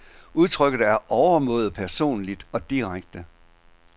Udtrykket er overmåde personligt og direkte.